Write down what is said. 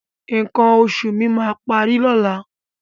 Nǹkan oṣù mi máa parí lọ́la.